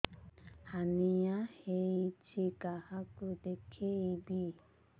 hernia ହୋଇଛି କାହାକୁ ଦେଖେଇବି